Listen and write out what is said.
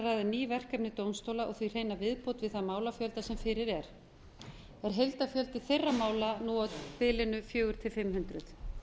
ný verkefni dómstóla og því hreina viðbót við þann málafjölda sem fyrir er er heildarfjöldi þeirra mála nú á bilinu fjögur hundruð til fimm hundruð